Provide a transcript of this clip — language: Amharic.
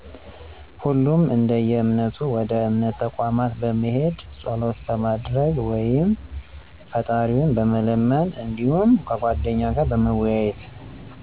ሁሉም እደየእምነቱ ወደ እምነት ተቋማት በመሄድ ፀሎት በማድረግ ወይም ፍጣሪውን በመለመን እዲሁም ከጓደኛ ጋር በመወያየት።